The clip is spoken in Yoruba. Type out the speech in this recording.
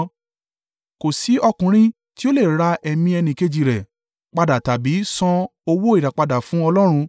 Kò sí ọkùnrin tí ó lè ra ẹ̀mí ẹnìkejì rẹ̀ padà tàbí san owó ìràpadà fún Ọlọ́run.